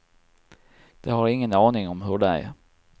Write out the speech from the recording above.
De har ingen aning om hur det är.